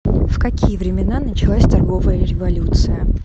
в какие времена началась торговая революция